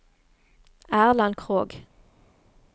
Erland Krogh